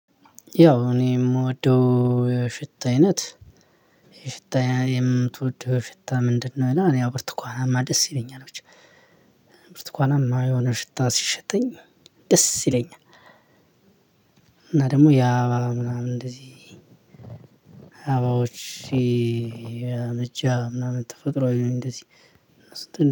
ያው እኔ የምወደው ሽታ አይነት የሽታ የምትወደው ሽታ ምንድነው? እና እኔ ያው ብርቱኳናማ ደስ ይለኛል ብቻ። ብርቱ ኳናማ የሆነ ሽታ ሲሸተኝ ደስ ይለኛል። እና ደግሞ ያ ምናምን እንደዚህ አበባዎች። የእጃ ምናምን ተፈጥሮአዊ ነው እንደዚህ